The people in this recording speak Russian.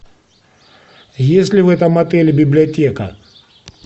есть ли в этом отеле библиотека